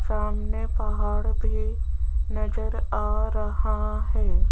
सामने पहाड़ भी नजर आ रहा है।